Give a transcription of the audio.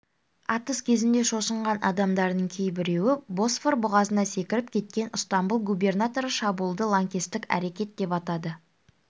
атыс кезінде шошынған адамдардың кейбіреуі босфор бұғазына секіріп кеткен ыстамбұл губернаторы шабуылды лаңкестік әрекет деп атады